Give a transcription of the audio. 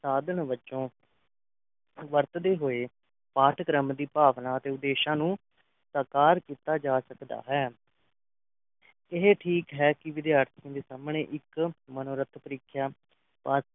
ਸਾਧਨ ਵਜੋਂ ਵਰਤਦੇ ਹੋਏ ਪਾਠਕ੍ਰਮ ਦੀ ਭਾਵਨਾ ਤੇ ਉਦੇਸ਼ਾਂ ਨੂੰ ਸਾਕਾਰ ਕੀਤਾ ਜਾ ਸਕਦਾ ਹੈ ਇਹ ਠੀਕ ਹੈ ਕਿ ਵਿਦਿਆਰਥਣਾਂ ਦੇ ਸਾਹਮਣੇ ਇੱਕ ਮਨੋਰਥ ਪਰੀਖਿਆ pass